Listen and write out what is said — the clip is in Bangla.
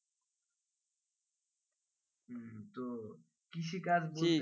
কৃষি কার্যে